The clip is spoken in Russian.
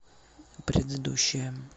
предыдущая